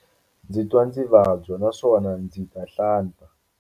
Ndzi twa ndzi vabya naswona ndzi ta hlanta.